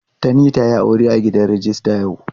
Tani ta yi aure a gidan rijista yau.